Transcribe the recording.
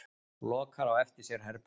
Lokar á eftir sér herberginu.